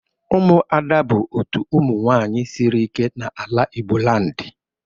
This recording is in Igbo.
Umuada bụ otu ụmụ nwaanyị sịrị ike n'ala Igbo land